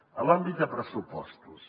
en l’àmbit de pressupostos